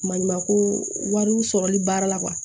Maɲumanko wariw sɔrɔli baara la